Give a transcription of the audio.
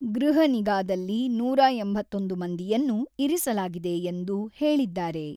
ಗೃಹ ನಿಗಾದಲ್ಲಿ ನೂರ ಎಂಬತ್ತೊಂದು ಮಂದಿಯನ್ನು ಇರಿಸಲಾಗಿದೆ ಎಂದು ಹೇಳಿದ್ದಾರೆ.